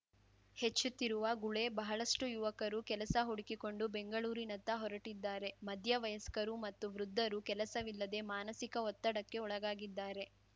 ಹೆಚ್ಚುತ್ತಿರುವ ಗುಳೆ ಬಹಳಷ್ಟುಯುವಕರು ಕೆಲಸ ಹುಡುಕಿಕೊಂಡು ಬೆಂಗಳೂರಿನತ್ತ ಹೊರಟಿದ್ದಾರೆ ಮಧ್ಯ ವಯಸ್ಕರು ಮತ್ತು ವೃದ್ಧರು ಕೆಲಸವಿಲ್ಲದೆ ಮಾನಸಿಕ ಒತ್ತಡಕ್ಕೆ ಒಳಗಾಗಿದ್ದಾರೆ